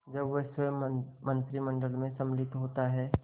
जब वह स्वयं मंत्रिमंडल में सम्मिलित होता है